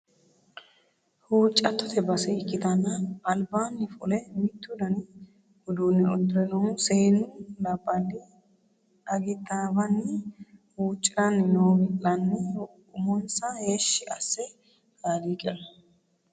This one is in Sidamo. Huuccattote base ikkittanna albaani fule mitto dani uduune uddire noohu seennu labballi agittawanni huucciranni no wi'lanni umonsa Heeshshi asse kaaliiqira.